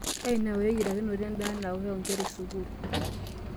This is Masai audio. Ainaura eyiarakinoto endaa yaanake onkera e sukuul.